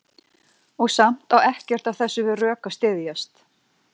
Og samt á ekkert af þessu við rök að styðjast.